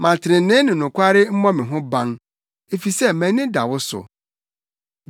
Ma trenee ne nokware mmɔ me ho ban, efisɛ mʼani da wo so.